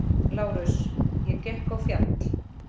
LÁRUS: Ég gekk á fjall.